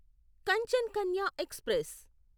Kanchan Kanya express